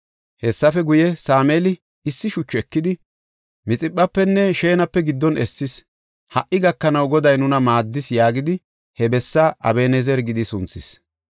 Hessafe guye, Sameeli issi shuchu ekidi, Mixiphafenne Shenape giddon essis; “Ha77i gakanaw Goday nuna maaddis” yaagidi he bessaa Aben7ezera gidi sunthis.